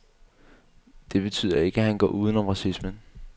Det betyder ikke, at han går uden om racismen.